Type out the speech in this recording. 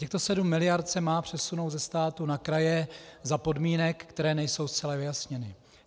Těchto 7 miliard se má přesunout ze státu na kraje za podmínek, které nejsou zcela vyjasněny.